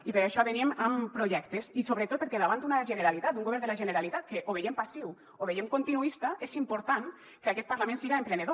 i per això venim amb projectes i sobretot perquè davant d’una generalitat d’un govern de la generalitat que o veiem passiu o veiem continuista és important que aquest parlament siga emprenedor